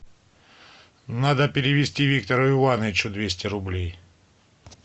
надо перевести виктору ивановичу двести рублей